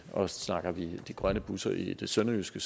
og snakker vi de grønne busser i det sønderjyske